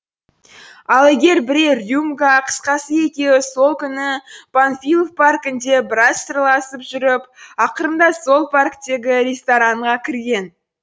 ал егер бірер рюмка қысқасы екеуі сол күні панфилов паркінде біраз сырласып жүріп ақырында сол парктегі ресторанға кірген